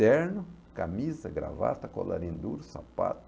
Terno, camisa, gravata, colarim duro, sapato.